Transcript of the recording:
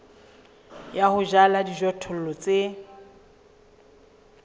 ya ho jala dijothollo tse